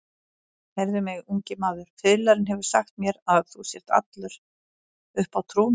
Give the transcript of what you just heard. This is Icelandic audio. Heyrðu mig, ungi maður, fiðlarinn hefur sagt mér að þú sért allur uppá trúna.